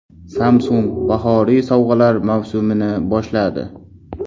Samsung bahoriy sovg‘alar mavsumini boshladi.